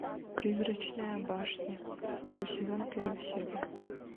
призрачная башня второй сезон первая серия